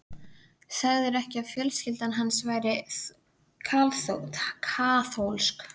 Sagðirðu ekki að fjölskyldan hans væri kaþólsk?